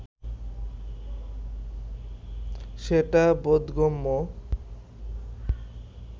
সেটা বোধগম্য